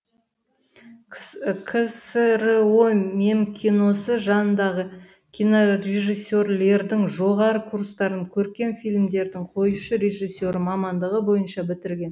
ксро мемкиносы жанындағы кинорежиссерлердің жоғары курстарын көркем фильмдердің қоюшы режиссері мамандығы бойынша бітірген